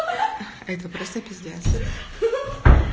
это просто пиздец и